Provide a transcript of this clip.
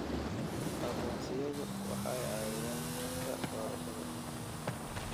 Aqoonsiyadu waxay caawiyaan habka doorashada.